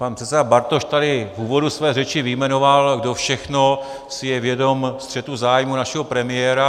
Pan předseda Bartoš tady v úvodu své řeči vyjmenoval, kdo všechno si je vědom střetu zájmů našeho premiéra.